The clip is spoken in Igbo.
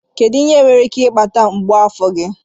Kedu ihe nwere ike ịkpata mgbu afọ gị?